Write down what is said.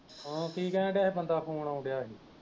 ਹਾਂ ਕਿ ਕਹਿਣ ਦੀਆ ਹੀ? ਬੰਦਾ phone ਆਉਣ ਦੀਆ ਹੀ